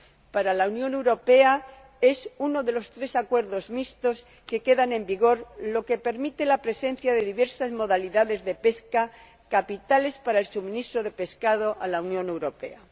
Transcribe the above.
para la Unión Europea, es uno de los tres acuerdos mixtos que quedan en vigor, lo que permite la presencia de diversas modalidades de pesca capitales para el suministro de pescado a la Unión Europea.